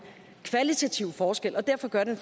kvalitative forskel og derfor gør det